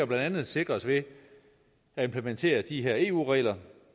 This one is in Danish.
blandt andet sikres ved at implementere de her eu regler